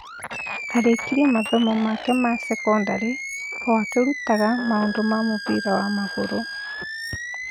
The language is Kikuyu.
Arĩkirie mathomo make ma sekondarĩ o akĩrutaga maũndũ ma mũbira wa magũrũ.